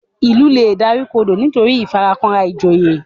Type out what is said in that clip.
Ilú lẹ dárìkodo nitoriti ìfarakanra ìjòyè